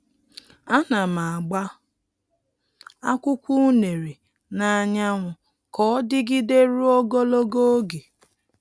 A na m agba akwụkwọ unere n'anyanwu ka ọ dịgide ruo ogologo oge.